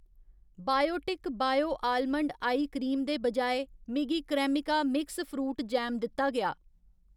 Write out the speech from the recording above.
Biotic bio almond eye cream दे बजाए, मिगी क्रेमिका मिक्स फ्रूट जैम दित्ता गेआ।